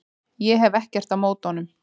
Ég hef ekkert á móti honum.